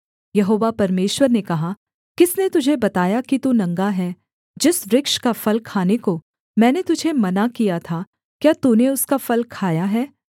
यहोवा परमेश्वर ने कहा किसने तुझे बताया कि तू नंगा है जिस वृक्ष का फल खाने को मैंने तुझे मना किया था क्या तूने उसका फल खाया है